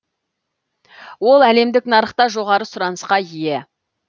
ол әлемдік нарықта жоғары сұранысқа ие